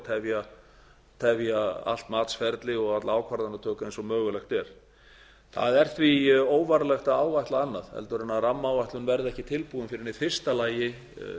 og tefja allt matsferli og alla ákvarðanatöku eins og mögulegt er það er því óvarlegt að áætla annað heldur en rammaáætlun verði ekki tilbúin fyrr en í fyrsta lagi